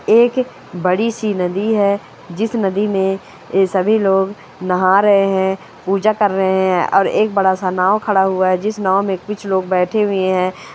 एक बड़ी सी नदी है जिस नदी में ये सभी लोग नहा रहे हैं पूजा कर रहे है और एक बड़ा सा नाव खड़ा हुआ है जिस नाव में कुछ लोग बेठे हुए हैं।